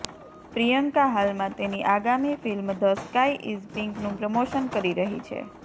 પ્રિયંકા હાલમાં તેની આગામી ફિલ્મ ધ સ્કાય ઇઝ પિંકનું પ્રમોશન કરી રહી છે